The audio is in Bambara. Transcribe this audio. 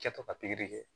Kɛtɔ ka pikiri kɛ